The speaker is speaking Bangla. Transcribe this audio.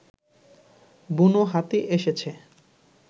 বুনো হাতি এসেছে